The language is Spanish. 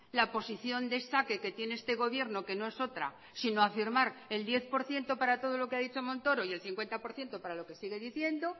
la posición de saque que tiene este gobierno que no es otra sino afirmar el diez por ciento para todo lo que ha dicho montoro y el cincuenta por ciento para lo que sigue diciendo